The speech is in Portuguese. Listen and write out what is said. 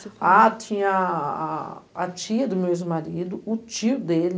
Ah, tinha a a tia do meu ex-marido, o tio dele,